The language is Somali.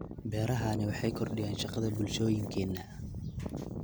Beerahani waxay kordhiyaan shaqada bulshooyinkeena.